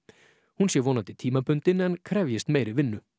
hún sé vonandi tímabundin en krefjist meiri vinnu